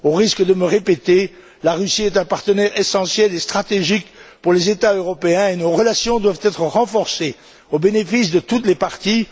Au risque de me répéter, la Russie est un partenaire essentiel et stratégique pour les États européens et nos relations doivent être renforcées au bénéfice de toutes les parties.